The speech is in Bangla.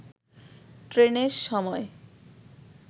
ট্রেনের সময়